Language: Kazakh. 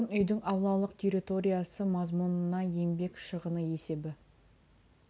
тұрғын үйдің аулалық территориясы мазмұнына еңбек шығыны есебі